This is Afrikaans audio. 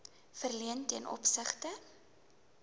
verleen ten opsigte